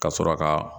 Ka sɔrɔ ka